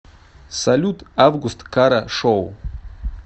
салют август кара шоу